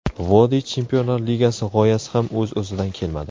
Vodiy Chempionlar ligasi g‘oyasi ham o‘z-o‘zidan kelmadi.